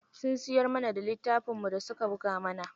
Sun siyar mana da littafin da suna buga.